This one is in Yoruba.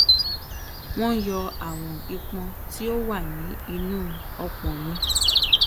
wọn yọ àwọn ìpọn tí tí ó wà ní inú ọpò mi